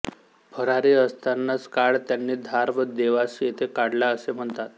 फरारी असतानाचा काळ त्यांनी धार व देवास येथे काढला असे म्हणतात